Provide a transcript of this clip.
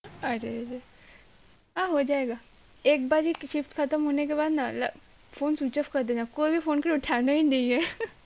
আরে রে হ্যাঁ হোজায়েগা একবার হি কি চিস খাতাম হোনে কে বাত না লা phone switch off কারদেনা phone কো উঠানাহি নেহি হে